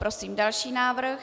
Prosím další návrh.